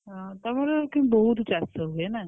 ଅ! ତମର କିନ୍ତୁ ବହୁତ୍ ଚାଷ ହୁଏ ନା?